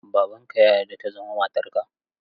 Babanka ya yarda ta zama matarka?